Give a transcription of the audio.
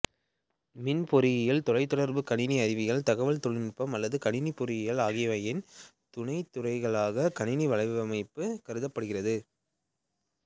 மின் பொறியியல்தொலைத்தொடர்பு கணினி அறிவியல் தகவல் தொழில்நுட்பம் அல்லது கணினி பொறியியல் ஆகியவையின் துணை துறைகளாக கணினி வலையமைப்பு கருதப்படுகிறது